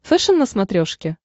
фэшен на смотрешке